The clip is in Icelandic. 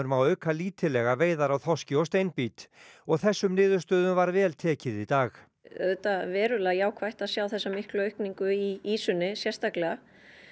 má auka lítillega veiðar á þorski og steinbít og þessum niðurstöðum var vel tekið í dag auðvitað verulega jákvætt að sjá þessa miklu aukningu í ýsunni sérstaklega